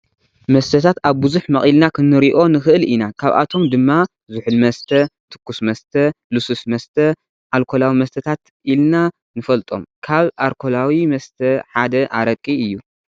መስተታት ኣብ ብዙሕ መቂልና ክንሪኦ ንክእል ኢና ካብኣቶም ድማ ፦ ዝሑል መስተ፣ ትኩስ መስተ፣ ልስሉስ መስተ፣ ኣልኮላዊ መስታታት ኢልና ንፈልጦም። ካብ ኣርኮላዊ መስተ ሓደ ኣረቂ አዩ።